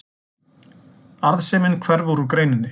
Arðsemin hverfur úr greininni